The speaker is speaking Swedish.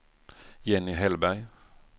Jenny Hellberg